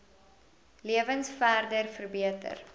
lewens verder verbeter